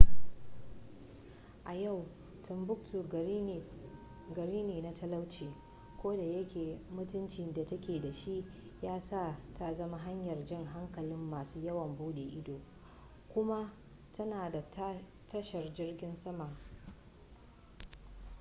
a yau timbuktu gari ne na talauci kodayake mutuncin da take da shi ya sa ta zama hanyar jan hankalin masu yawon bude ido kuma tana da tashar jirgin sama